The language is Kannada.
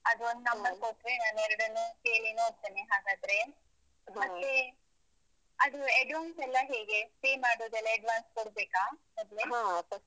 ನೀನು ಅದು ಒಂದು number ಕೊಟ್ರೆ ನಾನೆರಡನ್ನೂ ಕೇಳಿ ನೋಡ್ತೇನೆ ಹಾಗಾದ್ರೆ ಮತ್ತೆ ಅದು advance ಎಲ್ಲ ಹೇಗೆ pay ಮಾಡುದೆಲ್ಲ advance ಕೊಡ್ಬೇಕಾ, ಮೊದ್ಲೇ?